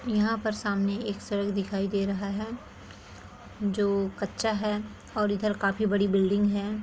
यहाँ पर सामने एक सड़क दिखाई दे रहा है जो कच्चा है और इधर काफी बड़ी बिल्डिंग है।